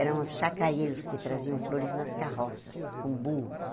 Eram os chacaeiros que traziam flores nas carroças, com burros.